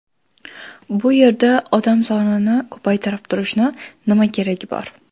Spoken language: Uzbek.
Bu yerda odam sonini ko‘paytirib turishingni nima keragi bor?